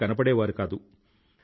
బహిరంగంగా కూడా ఎక్కడా కనబడలేదు